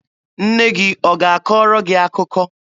Nne gị ọ ga-akọrọ gị akụkọ?